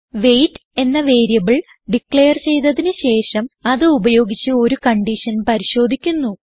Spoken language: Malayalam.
വെയ്റ്റ് എന്ന വേരിയബിൾ ഡിക്ളയർ ചെയ്തതിന് ശേഷം അത് ഉപയോഗിച്ച് ഒരു കൺഡിഷൻ പരിശോധിക്കുന്നു